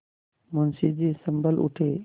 मुंशी जी सँभल उठे